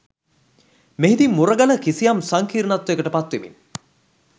මෙහිදී මුරගල කිසියම් සංකීර්ණත්වයකට පත් වෙමින්